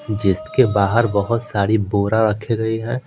जिसके बाहर बहुत सारी बोरा रखे गए हैं।